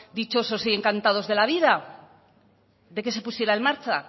dichosos y encantados de la vida de que se pusiera en marcha